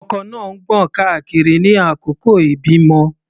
Ọkọ náà ń gbọ̀n káàkiri ní àkókò ìbímọ.